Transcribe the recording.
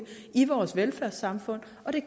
i vores velfærdssamfund og det